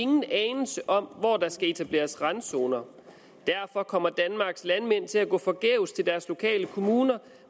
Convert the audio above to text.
nogen anelse om hvor der skal etableres randzoner derfor kommer danmarks landmænd til at gå forgæves til deres lokale kommuner